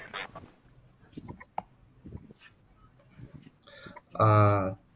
ஆஹ்